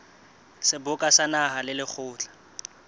seboka sa naha le lekgotla